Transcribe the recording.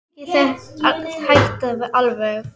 Kannski hætta alveg.